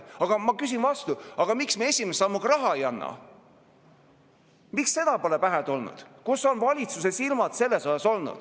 Aga ma küsin vastu: miks me esimese sammuga raha ei anna, miks see pole pähe tulnud, kus on valitsuse silmad olnud?